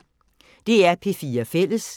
DR P4 Fælles